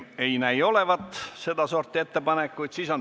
Ei näi olevat sedasorti ettepanekuid.